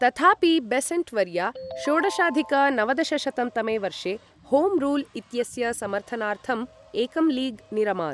तथापि, बेसेण्ट् वर्या षोडशाधिक नवदशशतं तमे वर्षे होम् रूल् इत्यस्य समर्थनार्थम् एकं लीग् निरमात्।